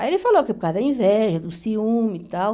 Aí ele falou que é por causa da inveja, do ciúme e tal.